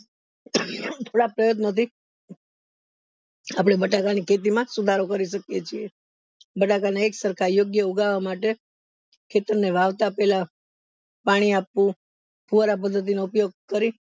પ્રયત્નો થી આપડે બટાકા ની ખેતી માં સુધારો કરી શકીયે છે બટાકા ને એક સરખા યોગ્ય ઉગાવવા માટે ખેતરને વાવતા પેલા પાણી આપવું ફુવારા પદ્ધતિ નો ઉપયોગ કરી